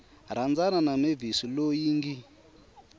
rhandzana na mavis loyi ngi